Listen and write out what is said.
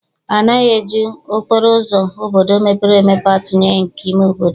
Anaghị eji okporo ụzọ obodo mepere emepe atụnyere nke ime obodo.